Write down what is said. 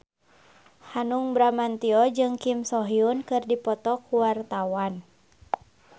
Hanung Bramantyo jeung Kim So Hyun keur dipoto ku wartawan